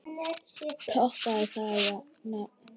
Toppið það nafn!